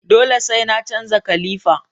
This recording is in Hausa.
Dole sai na canza kalifa